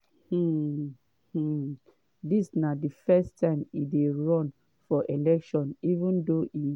um um dis na di first time e dey run for election even though e